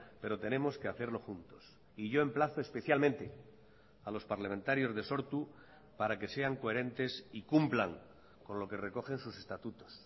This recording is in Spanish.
pero tenemos que hacerlo juntos y yo emplazo especialmente a los parlamentarios de sortu para que sean coherentes y cumplan con lo que recogen sus estatutos